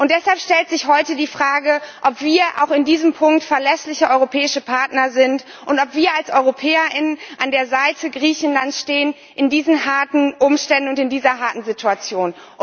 Deshalb stellt sich heute die Frage, ob wir auch in diesem Punkt verlässliche europäische Partner sind und ob wir als Europäer an der Seite Griechenlands stehen, unter diesen harten Umständen und in dieser harten Situation.